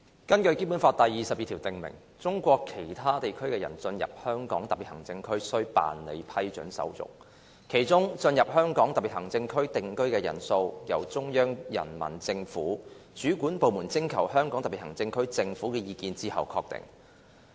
《基本法》第二十二條訂明："中國其他地區的人進入香港特別行政區須辦理批准手續，其中進入香港特別行政區定居的人數由中央人民政府主管部門徵求香港特別行政區政府的意見後確定"。